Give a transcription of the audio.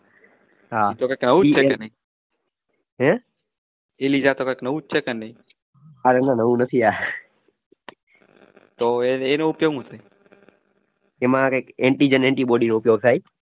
હાં હેં અરે રે નવું નથી યાર એમાં કઇ